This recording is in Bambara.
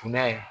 Funa